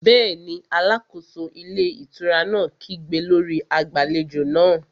Bẹ́ẹ̀ni, alákóso ilé ìtura náà kígbe lórí agbàlejò náà